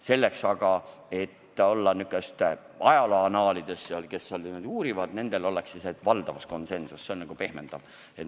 Selleks aga, et ajaloo annaalide uurijate jaoks oleks asi selgem, rääkisin valdavast konsensusest, mis kõlab pehmendavalt.